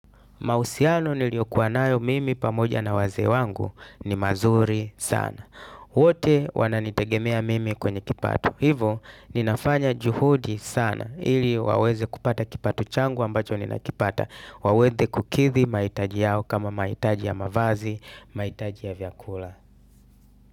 Mahusiano niliyokuwa nayo mimi pamoja na wazee wangu ni mazuri sana. Wote wananitegemea mimi kwenye kipato. Hivyo ninafanya juhudi sana ili waweze kupata kipato changu ambacho ninakipata. Waweze kukithi mahitaji yao kama mahitaji ya mavazi, mahitaji ya vyakula.